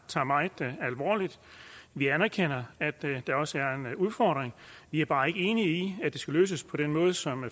tager meget alvorligt vi anerkender at der også er en udfordring vi er bare ikke enige i at det skal løses på den måde som